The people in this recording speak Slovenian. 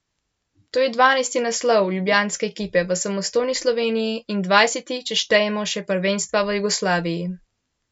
To je dvanajsti naslov ljubljanske ekipe v samostojni Sloveniji in dvajseti, če štejemo še prvenstva v Jugoslaviji.